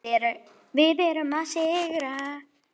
Við erum að sigra.